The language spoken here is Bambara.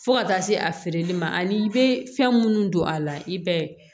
Fo ka taa se a feereli ma ani i bɛ fɛn minnu don a la i bɛ